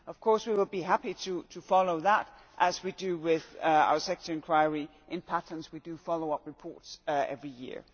Of course, we will be happy to follow up on that as we do with our sector enquiry in patents we do follow up reports every year.